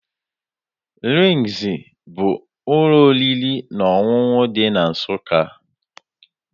RINGZ bụ ụlọ oriri na ọṅụṅụ dị na Nsụka.